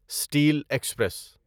steel express